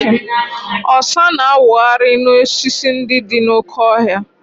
Ọsa na-awụgharị n'osisi ndị dị n'oke ọhịa.